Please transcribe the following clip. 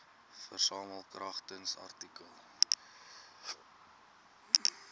versamel kragtens artikel